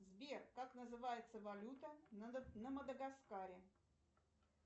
сбер как называется валюта на мадагаскаре